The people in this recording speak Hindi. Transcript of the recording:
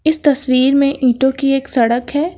इस तस्वीर में ईंटों की एक सड़क है।